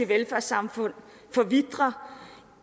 velfærdssamfund forvitrer